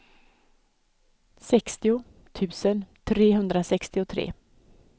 sextio tusen trehundrasextiotre